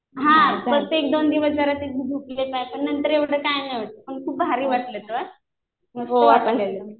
हा फक्त एक-दोन दिवस जरा दुखले पाय. पण नंतर एवढं काही नाही वाटलं पण खूप भारी वाटलं हा